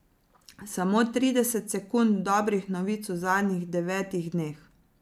Samo trideset sekund dobrih novic v zadnjih devetih dneh.